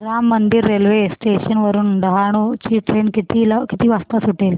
Ram Mandir railway station वरुन डहाणू ची train किती वाजता सुटेल